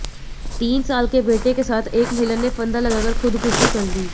तीन साल के बेटे के साथ एक महिला ने फंदा लगाकर खुदकुशी कर ली